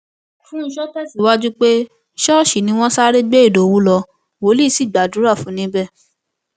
fúnshò tẹsíwájú pé ṣọọṣì ni wọn sáré gbé ìdòwú lọ wòlíì sì gbàdúrà fún un níbẹ